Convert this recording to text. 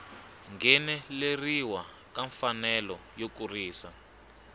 ngheneleriwa ka mfanelo yo kurisa